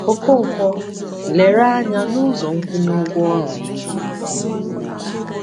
Okonkwo lere anya n’ụzọ nkwụnye ụgwọ ọrụ um.